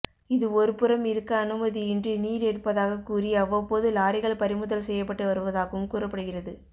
இது ஒருபுறம் இருக்க அனுமதியின்றி நீர் எடுப்பதாக்க் கூறி அவ்வப்போது லாரிகள் பறிமுதல் செய்யப்பட்டு வருவதாகவும் கூறப்படுகிறது